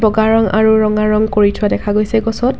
বগা ৰং আৰু ৰঙা ৰং কৰি থোৱা দেখা গৈছে গছত।